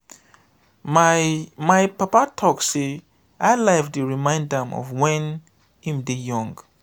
my my papa talk sey high-life dey remind am of wen im dey young.